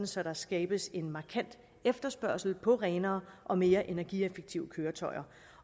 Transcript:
så der skabes en markant efterspørgsel på renere og mere energieffektive køretøjer